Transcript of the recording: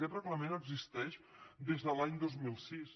aquest reglament existeix des de l’any dos mil sis